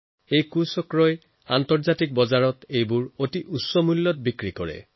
এই চক্ৰই আন্তঃৰাষ্ট্ৰীয় বজাৰত এইবোৰ অতি উচ্চ দামত বিক্ৰী কৰে